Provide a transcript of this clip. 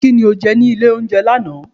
ki ní oje ní ilé oúnjẹ laná?